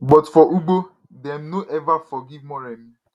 but for ugbo dem no eva forgive moremi